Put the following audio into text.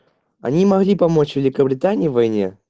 они могли помочь великобритании в войне